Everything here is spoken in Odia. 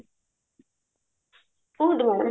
କୁହନ୍ତୁ madam